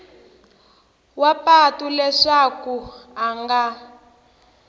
wa patu leswaku a nga